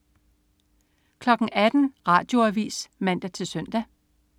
18.00 Radioavis (man-søn)